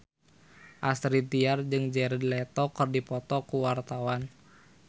Astrid Tiar jeung Jared Leto keur dipoto ku wartawan